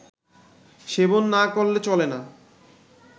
সেবন না করলে চলে না